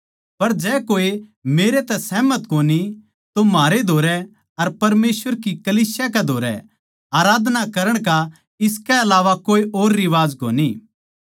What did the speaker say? पर जै कोए मेरे तै सहमत कोनी तो म्हारे धोरै अर परमेसवर की कलीसिया कै धोरै आराधना करण का इसकै अलावा कोए और रिवाज कोनी